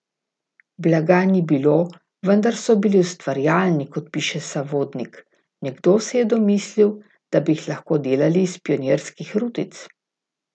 Blaga ni bilo, vendar so bili ustvarjalni, kot piše Savodnik: 'Nekdo se je domislil, da bi jih lahko delali iz pionirskih rutic.